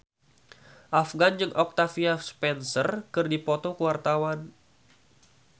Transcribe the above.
Afgan jeung Octavia Spencer keur dipoto ku wartawan